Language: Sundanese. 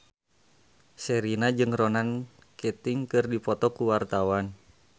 Sherina jeung Ronan Keating keur dipoto ku wartawan